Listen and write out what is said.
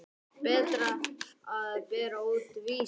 Berta að bera út Vísi.